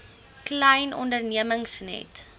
klein ondernemings net